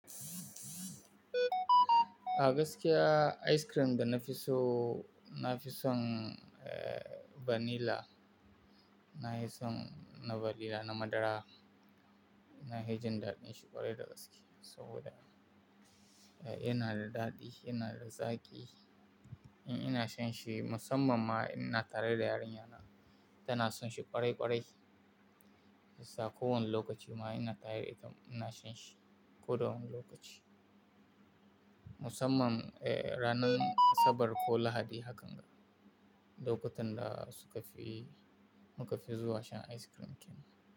Agaskiya ice cream da na fi so na fi son, eh, vanilla. Na fi son na vanilla na madara. Na hi jin daɗin shi ƙwarai da gaske saboda, eh, yana da daɗi, yana da zaƙi. In ina shan shi musamman ma ina tare da yarinyana, tana son shi ƙwarai ƙwarai. Shi sa ko wani lokaci ma ina tare da ita ina shan shi. Ko da wani lokaci. Musamman, eh, ranar Asabar ko Lahadi hakan ga. Lokutan da suka fi, muka fi zuwa shan ice cream kenan.